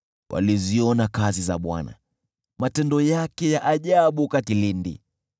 Waliziona kazi za Bwana , matendo yake ya ajabu kilindini.